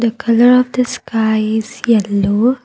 the colour of the sky is yellow.